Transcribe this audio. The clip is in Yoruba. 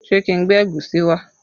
Ṣé kí n gbé ẹ̀gúsí wá?